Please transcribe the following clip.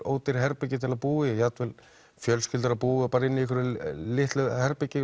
ódýr herbergi til að búa í jafn vel fjölskyldur að búa bara inni í einhverju litlu herbergi